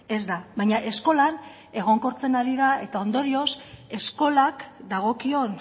ez da baina eskolan egonkortzen ari da eta ondorioz eskolak dagokion